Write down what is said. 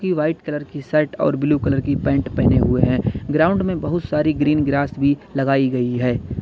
ये white colour की shirt और ब्लू कलर की पैंट पहने हुए हैं ग्राउंड में बहुत सारी ग्रीन ग्रास भी लगाई गई है।